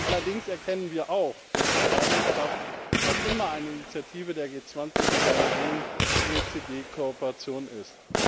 Allerdings erkennen wir auch, dass die treibende Kraft noch immer eine Initiative der G20 mit einer engen OECD Kooperation ist.